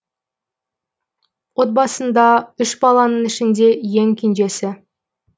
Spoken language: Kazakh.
отбасында үш баланың ішінде ең кенжесі